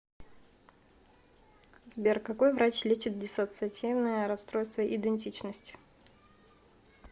сбер какой врач лечит диссоциативное расстройство идентичности